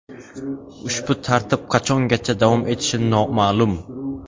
Ushbu tartib qachongacha davom etishi noma’lum.